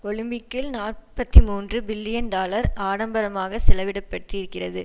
ஒலிம்பிக்கில் நாற்பத்தி மூன்று பில்லியன் டாலர் ஆடம்பரமாக செலவிடப்பட்டிருக்கிறது